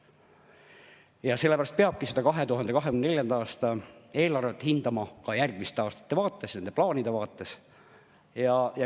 Ja sellepärast peabki seda 2024. aasta eelarvet hindama ka järgmiste aastate vaates, nende plaanide vaates.